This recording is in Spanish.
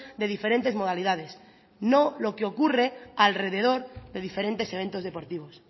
de diferentes modalidades no lo que ocurre alrededor de diferentes eventos deportivos